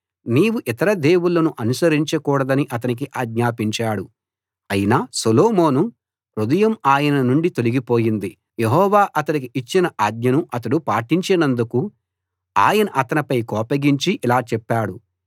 నీవు ఇతర దేవుళ్ళను అనుసరించకూడదని అతనికి ఆజ్ఞాపించాడు అయినా సొలొమోను హృదయం ఆయన నుండి తొలగిపోయింది యెహోవా అతడికి ఇచ్చిన ఆజ్ఞను అతడు పాటించనందుకు ఆయన అతనిపై కోపగించి ఇలా చెప్పాడు